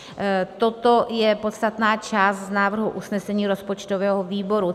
Toto je podstatná část z návrhu usnesení rozpočtového výboru.